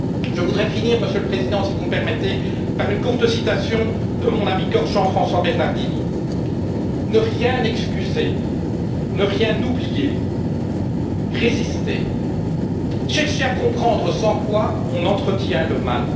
Je voudrais finir, Monsieur le Président, si vous me permettez, par une courte citation de mon ami corse Jean François Bernardini ne rien excuser, ne rien oublier, résister, chercher à comprendre, sans quoi on entretient le mal.